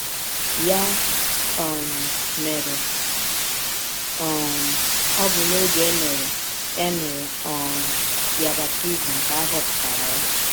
Ya um mere, um ọ bụ n’ọge e mere e mere um ya baptism ka a họpụtara ya.